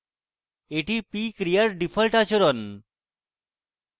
এটি p ক্রিয়ার default আচরণ